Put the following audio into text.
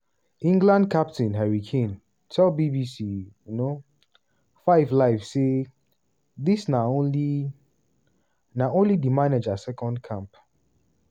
england captain harry kane tell bbc um 5 live say: "dis na only na only di manager second camp